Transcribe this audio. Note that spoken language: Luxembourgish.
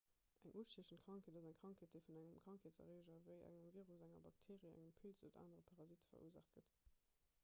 eng ustiechend krankheet ass eng krankheet déi vun engem krankheetserreeger ewéi engem virus enger bakteerie engem pilz oder anere parasitte verursaacht gëtt